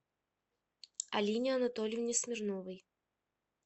алине анатольевне смирновой